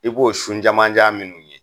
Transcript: I b'o sun jamanjan minnu ye